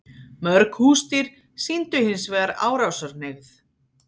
Mörg húsdýr sýndu hins vegar árásarhneigð.